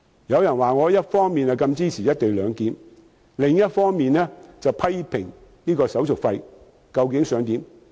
有人說我一方面支持"一地兩檢"，另一方面卻批評手續費。